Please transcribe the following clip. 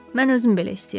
Mən özüm belə istəyirəm.